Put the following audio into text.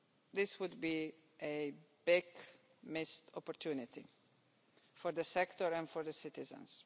This would be a big missed opportunity for the sector and for citizens.